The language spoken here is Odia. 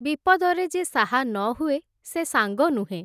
ବିପଦରେ ଯେ ସାହା ନ ହୁଏ, ସେ ସାଙ୍ଗ ନୁହେଁ ।